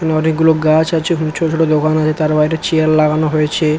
এখানে অনেক গুলো গাছ আছে এবং ছোট ছোট দোকান তার বাইরে চেয়ার লাগানো হয়েছে ।